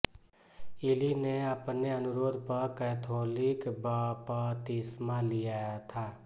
इली ने अपने अनुरोध पर कैथोलिक बपतिस्मा लिया था